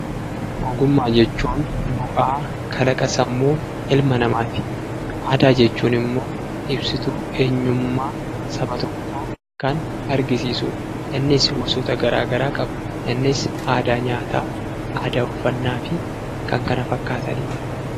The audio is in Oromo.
Ogummaa jechuun bu'aa kalaqa sammuu ilma namaati. Aadaa jechuun immoo ibsituu eenyummaa saba tokkoo kan argisiisuu innis gosa garaa garaa qaba. Innis aadaa nyaataa ,aadaa uffannaa fi kan kana fakkaataniidha.